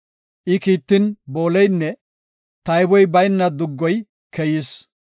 I kiittin, booleynne tayboy bayna duggoy keyis.